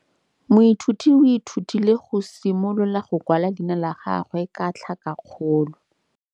Moithuti o ithutile go simolola go kwala leina la gagwe ka tlhakakgolo.